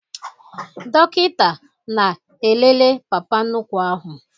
Dọkịta na-elele papa nnukwu ahụ